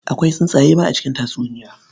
Akwai tsuntsaye ma a cikin tatsuniya.